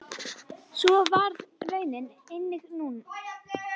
Svo varð raunin einnig nú.